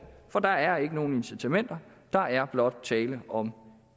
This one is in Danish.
for der er ikke nogen incitamenter der er blot tale om